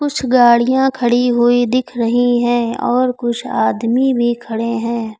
कुछ गाड़ियां खड़ी हुई दिख रही हैं और कुछ आदमी भी खड़े हैं।